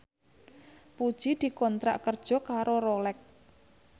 Puji dikontrak kerja karo Rolex